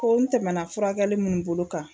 Ko n tɛmɛna furakɛli minnu bolo kan